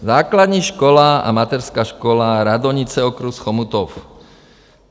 Základní škola a Mateřská škola Radonice, okres Chomutov.